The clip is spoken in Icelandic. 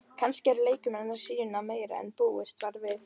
Kannski eru leikmenn að sýna meira en búist var við?